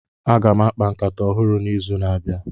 Aga m akpa nkata ọhụrụ n'izu na-abịa.